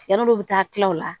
Yan'olu bɛ taa kila o la